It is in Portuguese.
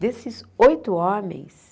Desses oito homens...